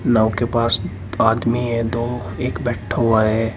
नाव के पास आदमी हैं दो एक बैठा हुआ है।